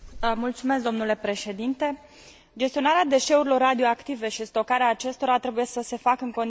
Gestionarea deșeurilor radioactive și stocarea acestora trebuie să se facă în condiții de maximă siguranță.